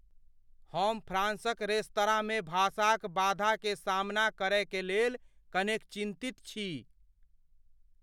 हम फ्रांसक रेस्तराँमे भाषाक बाधा के सामना करय के लेल कनेक चिन्तित छी।